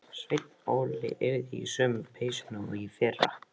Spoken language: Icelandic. Sveinn Óli yrði í sömu peysunni og í fyrra.